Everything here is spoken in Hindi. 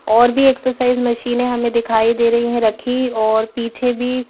और भी एक्सरसाइज मशीनें हमें दिखाई दे रही हैं रखी और पीछे भी--